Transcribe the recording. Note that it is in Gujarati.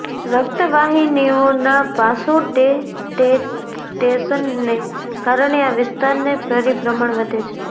રક્ત વાહિનીઓના વાસોડેટેટેશનને કારણે આ વિસ્તારને પરિભ્રમણ વધે છે